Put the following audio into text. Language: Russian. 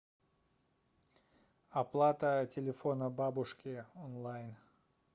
оплата телефона бабушки онлайн